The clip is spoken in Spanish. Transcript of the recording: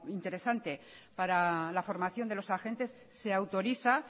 interesante para la formación de los agentes se autoriza